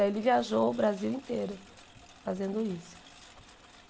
Aí ele viajou o Brasil inteiro fazendo isso.